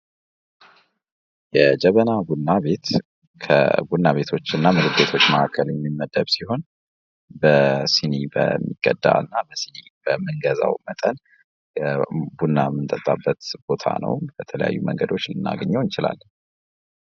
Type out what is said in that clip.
የጀበና ቡና ቤት ከቡና ቤቶች እና ምግብ ቤቶች መካከል የሚመደብ ሲሆን በስኒ በሚቀዳ እና በስኒ በምንገዛዉ መጠን ቡና የምንጠጣበት ቦታ ነዉ። በተለያዩ መንገዶች ልናገኘዉ እንችላለን።